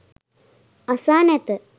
අසා නැත.